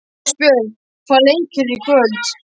Ástbjörg, hvaða leikir eru í kvöld?